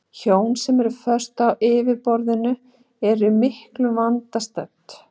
Hjón sem eru föst á yfirborðinu eru í miklum vanda stödd.